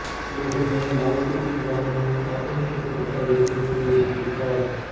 ਉਹ ਨੇ ਨਵਸੂਫੀਵਾਦ ਨੂੰ ਆਧੁਨਿਕ ਕਵਿਤਾ ਵਿੱਚ ਪੇਸ਼ ਕੀਤਾ